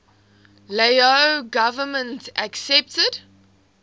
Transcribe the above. lao government accepted